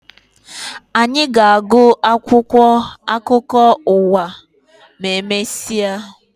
Anyị ga-agụ akwụkwọ akụkọ ụwa ma emesịa